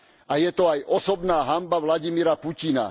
A je to aj osobná hanba Vladimíra Putina.